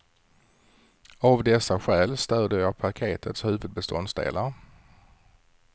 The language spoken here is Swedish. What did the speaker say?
Av dessa skäl stöder jag paketets huvudbeståndsdelar.